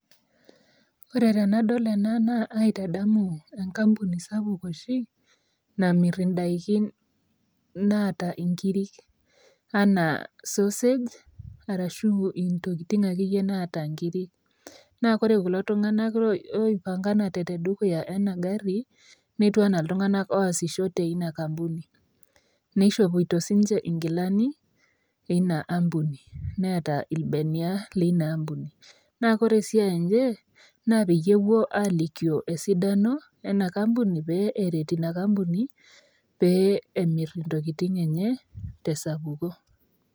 Ore tenadol ena naa aaitadamu enkampuni sapuk oshi nimir inaidikin naata inkirri, enaa sorsage arashu intokitin akeyie naata inkiri naa ore kulo tunganak oipanganate tedukuya ena gari, netiu enaa iltunganak oasisho teina kampuni. Neishopito sininje inkilani eina ampuni neeta ilbenia leina ampuni. Naa ore siai enye naa kepuo aalikio esidano ena kampuni pee eret ina kampuni pee emirr entokitin enye tesapuko.